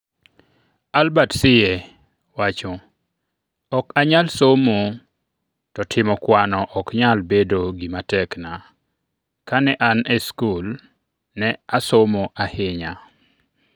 Albert Siye: 'Ok anyal somo to timo kwano ok nyal bedo gima tekna' Kane an e skul, ne asomo ahinya.